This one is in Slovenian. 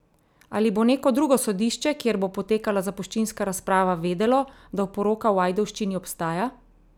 Ali bo neko drugo sodišče, kjer bo potekala zapuščinska razprava, vedelo, da oporoka v Ajdovščini obstaja?